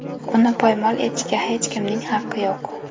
Uni poymol etishga hech kimning haqqi yo‘q.